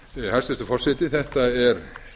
hæstvirtur forseti þetta er